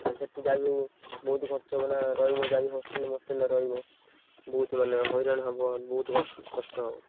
ଆଉ ସେଠି ଯାହାବି ହଉ ବହୁତ୍ ଖର୍ଚ ହବ ନା ରହିବ ଯାହାବି ହଉ hostel fostel ରହିବ। ବହୁତ୍ ମାନେ ହଇରାଣ ହବ ବହୁତ୍ ~କସ କଷ୍ଟ ହବ।